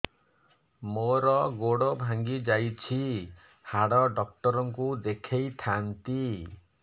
ମୋର ଗୋଡ ଭାଙ୍ଗି ଯାଇଛି ହାଡ ଡକ୍ଟର ଙ୍କୁ ଦେଖେଇ ଥାନ୍ତି